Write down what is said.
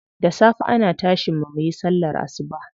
Da safe ana tashin mu muyi sallar asuba.